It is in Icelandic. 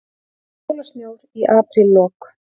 Jólasnjór í apríllok